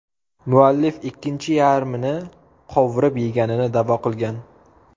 Muallif ikkinchi yarmini qovurib yeganini da’vo qilgan.